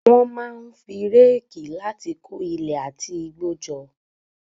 Wọ́n máa ń fi réèkì láti kó ilẹ̀ àti igbó jọ.